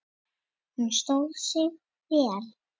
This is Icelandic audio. Þinn Jónatan Ingi.